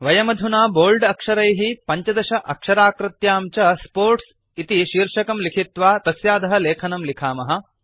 वयमधुना बोल्ड अक्षरैः 15 अक्षराकृत्यां च स्पोर्ट्स् इति शीर्षकं लिखित्वा तस्याधः लेखनं लिखामः